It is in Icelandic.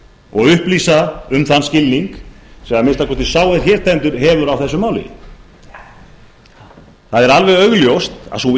og upplýsa um þann skilning sem að minnsta kosti sá sem hér stendur hefur á þessu máli það er alveg augljóst að sú